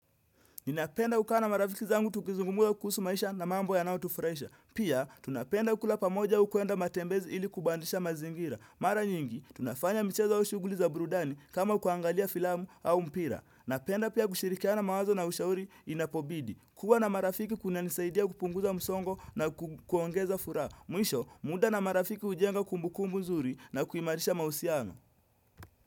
Ninapenda kukaa na marafiki zangu tukizungumuza kuhusu maisha na mambo yanayotufuraisha. Pia, tunapenda kula pamoja au kuenda matembezi ili kubandisha mazingira. Mara nyingi, tunafanya mchezo au shughuli za burudani kama kuangalia filamu au mpira. Napenda pia kushirikiana mawazo na ushauri inapobidi. Kuwa na marafiki kunanisaidia kupunguza msongo na kuongeza furaha. Mwisho, muda na marafiki hujenga kumbukumbu mzuri na kuimarisha mahusiano.